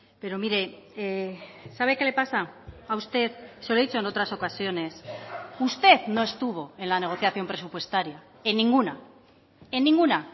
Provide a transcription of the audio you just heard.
pero mire sabe qué le pasa a usted se lo he dicho en otras ocasiones usted no estuvo en la negociación presupuestaria en ninguna en ninguna